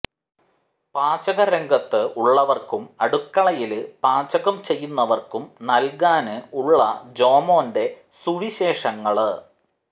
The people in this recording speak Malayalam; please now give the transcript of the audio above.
പാചക രംഗത്ത് ഉള്ളവര്ക്കും അടുക്കളയില് പാചകം ചെയ്യുന്നവര്ക്കും നല്കാന് ഉള്ള ജോമോന്റെ സുവിശേഷങ്ങള്